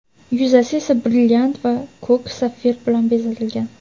yuzasi esa brilliant va ko‘k sapfir bilan bezatilgan.